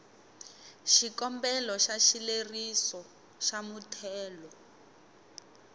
xikombelo xa xileriso xa muthelo